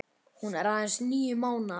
Hún er aðeins níu mánaða.